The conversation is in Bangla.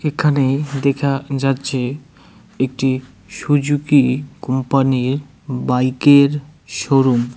এখানে দেখা যাচ্ছে একটি সুজুকি কোম্পানি -র বাইক -এর শোরুম ।